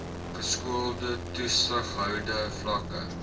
geskoolde toesighoudende vlakke